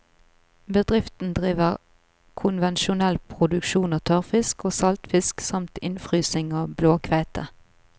Bedriften driver konvensjonell produksjon av tørrfisk og saltfisk samt innfrysing av blåkveite.